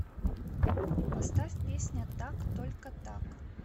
поставь песня так только так